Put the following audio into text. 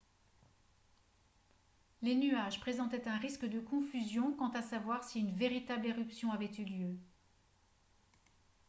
les nuages présentaient un risque de confusion quant à savoir si une véritable éruption avait eu lieu